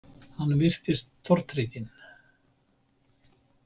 Hann virtist tortrygginn.